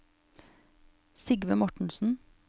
Sigve Mortensen